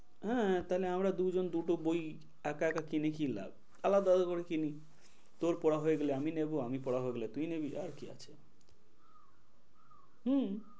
হ্যাঁ তাহলে আমরা দুজন দুটো বই একা একা কিনে কি লাভ? আলাদা আলাদা করে কিনি তোর পড়া হয়ে গেলে আমি নেব আমি পড়া হয়ে গেলে তুই নিবি আবার কি আছে হম